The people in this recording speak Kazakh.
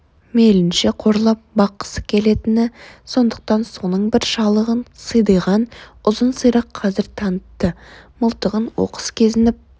мейлінше қорлап баққысы келетіні сондықтан соның бір шалығын сидиған ұзын сирақ қазір танытты мылтығын оқыс кезеніп